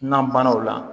Nanbana o la